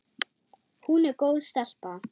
Hún er góð stelpa.